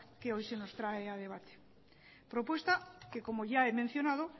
que hoy nos trae a debatir propuesta que como ya he mencionado